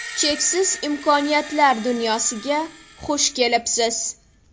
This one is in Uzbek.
Cheksiz imkoniyatlar dunyosiga xush kelibsiz!